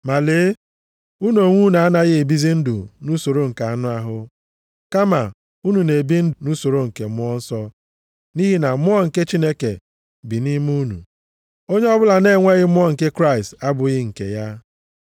Ma lee! Unu onwe unu anaghị ebizi ndụ nʼusoro nke anụ ahụ, kama unu na-ebi nʼusoro nke Mmụọ Nsọ nʼihi na Mmụọ nke Chineke bi nʼime unu. Onye ọbụla na-enweghị Mmụọ nke Kraịst abụghị nke ya.